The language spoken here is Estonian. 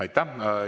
Aitäh!